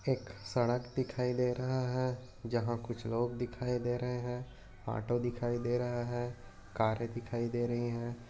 एक सडक दिखाई दे रहा है। जहा कुछ लोग दिखाई दे रहे है। ऑटो दिखाई दे रहा है। कारे दिखाई दे रही है।